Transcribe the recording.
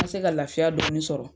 N ka se ka lafiya dɔɔni sɔrɔ.